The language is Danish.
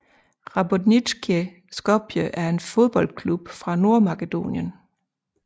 Rabotnicki Skopje er en fodboldklub fra Nordmakedonien